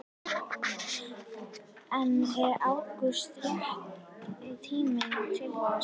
En er ágúst rétti tíminn til þess?